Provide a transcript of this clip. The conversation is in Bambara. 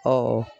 Ɔ